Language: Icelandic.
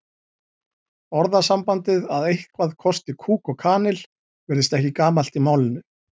Orðasambandið að eitthvað kosti kúk og kanil virðist ekki gamalt í málinu.